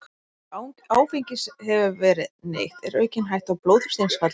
Ef áfengis hefur verið neytt er aukin hætta á blóðþrýstingsfalli.